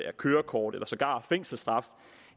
af kørekort eller sågar fængselsstraf